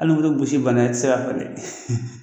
Hali ni bɛ gosi bana i tɛ se k'a